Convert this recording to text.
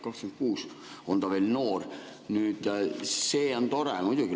26 on veel noor, ja see on tore muidugi.